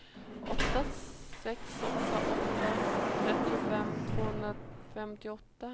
åtta sex åtta åtta trettiofem tvåhundrafemtioåtta